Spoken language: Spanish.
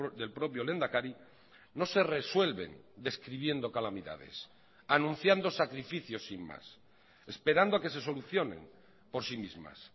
del propio lehendakari no se resuelven describiendo calamidades anunciando sacrificios sin más esperando a que se solucionen por sí mismas